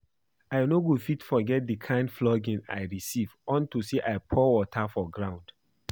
I no go fit forget the kin flogging I receive unto say I pour water for ground